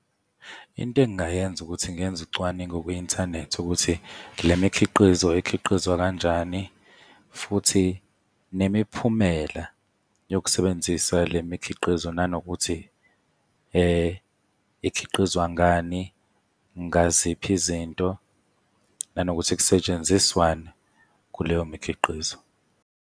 Into engingayenza ukuthi ngenze ucwaningo kwi-inthanethi ukuthi le mikhiqizo ikhiqizwa kanjani, futhi nemiphumela yokusebenzisa le mikhiqizo, nanokuthi ikhiqizwa ngani, ngaziphi izinto, nanokuthi kusetshenziswani kuleyo mikhiqizo.